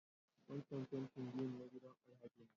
Wancan fentin biyu na gidan Alhaji ne.